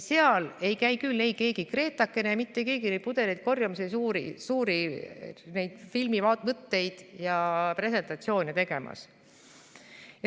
Seal ei käi küll keegi Gretakene ega mitte keegi neid pudeleid korjamas ja suuri filmivõtteid ja presentatsioone tegemas.